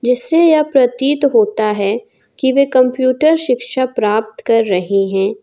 इससे यह प्रतीत होता है कि वे कंप्यूटर शिक्षा प्राप्त कर रहे हैं।